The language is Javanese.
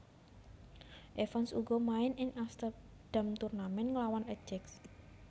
Evans uga main ing Amsterdam Tournament nglawan Ajax